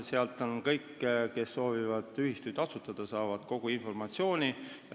Sealt saavad kõik, kes soovivad ühistut asutada, kogu informatsiooni.